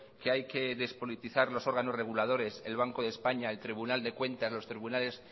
que hay que despolitizar los órganos reguladores el banco de españa el tribunal de cuentas los tribunales